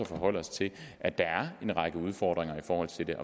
forholde os til at der er en række udfordringer i forhold til det